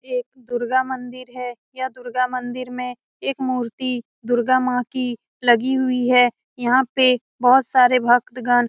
ये एक दुर्गा मंदिर है यह दुर्गा मंदिर में एक मूर्ति दुर्गा माँ की लगी हुई है यहाँ पे बहुत सारे भक्तगण --